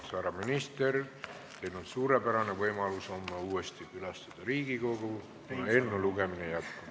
Härra minister, teil on suurepärane võimalus homme uuesti külastada Riigikogu, kuna eelnõu lugemine jätkub.